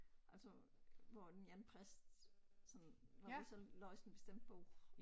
Altså hvor en eller anden præst sådan når vi så læser en bestemt bog